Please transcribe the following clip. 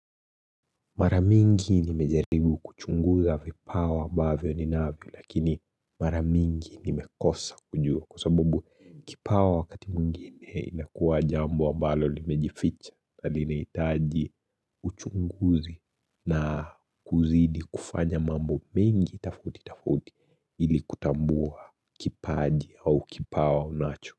Mara mingi nimejaribu kuchunguza vipawa ambavyo ninavyo lakini mara mingi nimekosa kujua kwa sababu kipawa wakati mwingine inakuwa jambo ambalo limejificha na linahitaji uchunguzi na kuzidi kufanya mambo mengi tofauti tofauti ili kutambua kipaji au kipawa unacho.